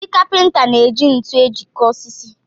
Ndị Kapịnta na-eji ntu ejikọ osisi